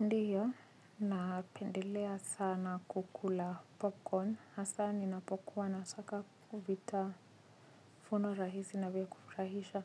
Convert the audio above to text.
Ndiyo, na pendelea sana kukula popcorn, hasa ninapokuwa na taka vitafuno rahisi na vya kufurahisha.